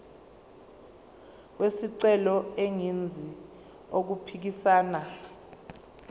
wesicelo engenzi okuphikisana